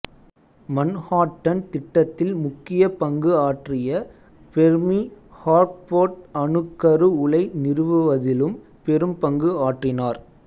Manhattan திட்டத்தில் முக்கிய பங்கு ஆற்றிய ஃபெர்மி ஹான்ஃபோர்ட் அணுக்கரு உலை நிறுவுவதிலும் பெரும் பங்கு ஆற்றினார்